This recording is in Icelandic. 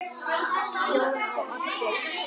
Jón og Oddur.